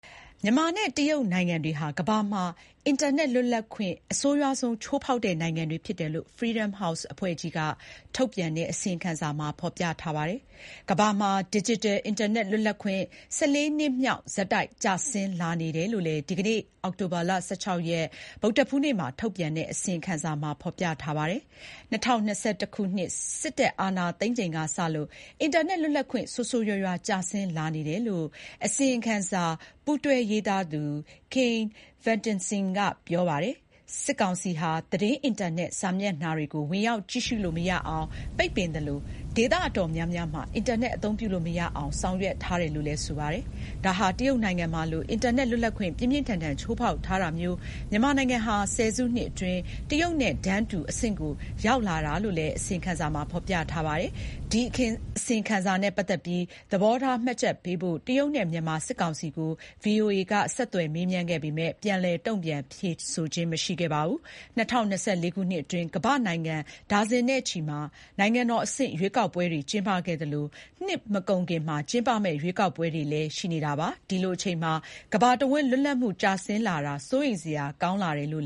မြန်မာနဲ့ တရုတ်နိုင်ငံတွေဟာ ကမ္ဘာမှာ အင်တာနက် လွတ်လပ်ခွင့် အဆိုးရွားဆုံး ချိုးဖေါက်တဲ့နိုင်ငံတွေ ဖြစ်တယ်လို့ Freedom House အဖွဲ့က ထုတ်ပြန်တဲ့ အစီရင်ခံစာမှာ ဖေါ်ပြထားပါတယ်။ ကမ္ဘာမှာ ဒစ်ဂျစ်တယ် အင်တာနက် လွတ်လပ်ခွင့် ၁၄ နှစ်မြောက် ဆက်တိုက် ကျဆင်းလာနေတယ်လို့လည်း ဒီကနေ့ အောက်တိုဘာ ၁၆ ရက် ဗုဒ္ဓဟူးနေ့မှာ ထုတ်ပြန်တဲ့ အစီရင်ခံစာမှာဖေါ်ပြထားပါတယ်။ ၂၀၂၁ ခုနှစ် စစ်တပ်အာဏာသိမ်းချိန်ကစလို့ အင်တာနက် လွတ်လပ်ခွင့် ဆိုးဆိုးရွားရွားကျဆင်းလာနေတယ်လို့ အစီရင်ခံစာ ပူးတွဲရေးသားသူ Kian Vesteinsson က ပြောပါတယ်။ စစ်ကောင်စီဟာ သတင်းအင်တာနက်စာမျက်နှာတွေကို ဝင်ရောက်ကြည့်ရှုလို့မရအောင် ပိတ်ပင်သလို ဒေသအတော်များများမှာ အင်တာနက် အသုံးပြုလို့မရအောင် ဆောင်ရွက်ထားတယ်လို့လည်း ဆိုပါတယ်။ ဒါဟာ တရုတ်နိုင်ငံမှာလို အင်တာနက် လွတ်လပ်ခွင့် ပြင်းပြင်းထန်ထန် ချိုးဖေါက်ထားတာမျိုး မြန်မာနိုင်ငံဟာ ၁၀ စုနှစ်အတွင်း တရုတ်နိုင်ငံနဲ့ တန်းတူ အဆင့်ကို ရောက်လာတာလို့လည်း အစီရင်ခံစာမှာ ဖေါ်ပြပါတယ်။ ဒီအစီရင်ခံစာနဲ့ ပတ်သတ်ပြီး သဘောထားမှတ်ချက်ပေးဖို့ တရုတ်နဲ့ မြန်မာ စစ်ကောင်စီကို VOA က မေးမြန်းပေမယ့် ပြန်လည် တုန့်ပြန်ဖြေကြားတာမျိုး မရှိပါဘူး။ ၂၀၂၄ ခုနှစ်အတွင်း ကမ္ဘာ့နိုင်ငံ ဒါဇင်နဲ့ချီမှာ နိုင်ငံတော်အဆင့် ရွေးကောက်ပွဲတွေ ကျင်းပခဲ့သလို၊ နှစ်မကုန်ခင်မှာ ကျင်းပမယ့် ရွေးကောက်ပွဲတွေ လည်း ရှိနေတာပါ။ ဒီလိုအချိန်မှာ ကမ္ဘာတဝန်းလွတ်လပ်မှုကျဆင်းလာတာ စိုးရိမ်စရာကောင်းတယ်လို့